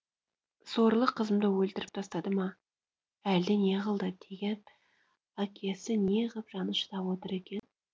сорлы қызымды өлтіріп тастады ма әлде не қылды деп әкесі не ғып жаны шыдап отыр екен